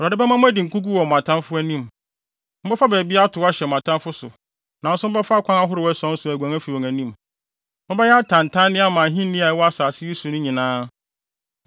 Awurade bɛma mo adi nkogu wɔ mo atamfo anim. Mobɛfa baabi akɔtow ahyɛ mo atamfo so, nanso mobɛfa akwan ahorow ason so aguan afi wɔn anim. Mobɛyɛ atantanne ama ahenni a ɛwɔ asase yi so no nyinaa.